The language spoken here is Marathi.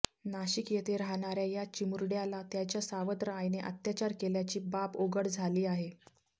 नाशिक येथे राहणाऱ्या या चिमुरड्याला त्याच्या सावत्र आईने अत्याचार केल्याची बाब उघड झाली आहे